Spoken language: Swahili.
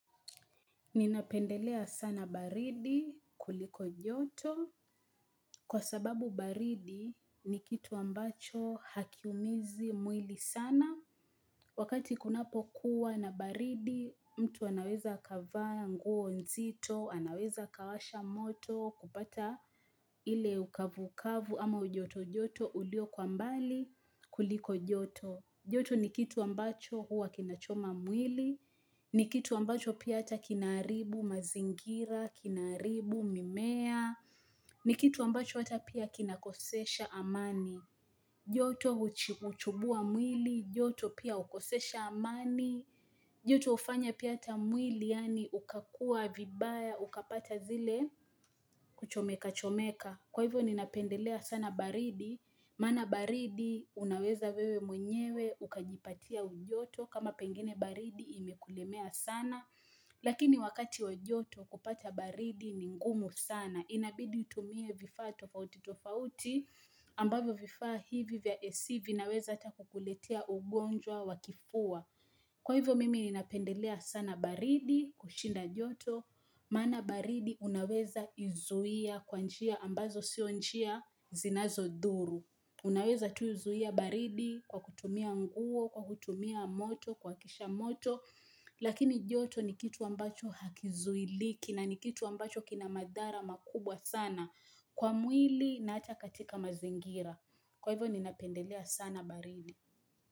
Ninapendelea sana baridi kuliko joto. Kwa sababu baridi ni kitu ambacho hakiumizi mwili sana. Wakati kunapokuwa na baridi mtu anaweza akava nguo nzito, anaweza akawasha moto, kupata ile ukavu-ukavu ama ujoto-joto ulio kwa mbali kuliko joto. Joto ni kitu ambacho huwa kinachoma mwili, ni kitu ambacho pia hata kinaharibu mazingira, kinaharibu mimea, ni kitu ambacho hata pia kinakosesha amani. Joto huchubua mwili, joto pia hukosesha amani, joto hufanya pia hata mwili yaani ukakua vibaya, ukapata zile kuchomekachomeka. Kwa hivyo ninapendelea sana baridi, maana baridi unaweza wewe mwenyewe ukajipatia ujoto kama pengine baridi imekulemea sana. Lakini wakati wa joto kupata baridi ni ngumu sana. Inabidi utumie vifaa tofauti tofauti ambavyo vifaa hivi vya AC vinaweza ata kukuletea ugonjwa wa kifua. Kwa hivyo mimi ninapendelea sana baridi, kushinda joto, maana baridi unaweza izuia kwa njia ambazo sio njia zinazodhuru. Unaweza tu zuia baridi kwa kutumia nguo, kwa kutumia moto, kuwakisha moto, lakini joto ni kitu ambacho hakizuiliki na ni kitu ambacho kina madhara makubwa sana. Kwa mwili naacha katika mazingira. Kwa hivyo ninapendelea sana baridi.